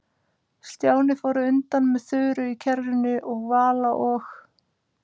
Stjáni fór á undan með Þuru í kerrunni og Vala og